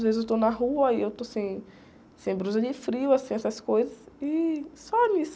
Às vezes eu estou na rua e eu estou sem, sem blusa de frio, assim, essas coisas e só nisso.